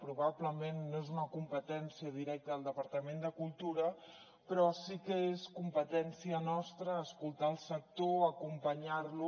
probablement no és una competència directa del departament de cultura però sí que és competència nostra escoltar el sector acompanyar lo